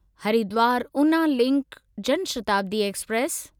Haridwar Una link Janshatabdi express